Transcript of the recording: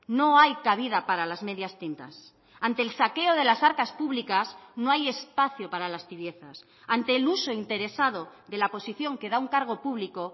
no hay cabida para las medias tintas ante el saqueo de las arcas públicas no hay espacio para las tibiezas ante el uso interesado de la posición que da un cargo público